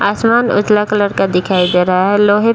आसमान उजला कलर का दिखाई दे रहा है लोहे --